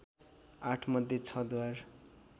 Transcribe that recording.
आठमध्ये छ द्वार